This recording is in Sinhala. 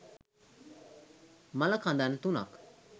මළ කඳන් තුනක්